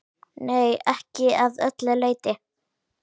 Nei, ekki að öllu leyti.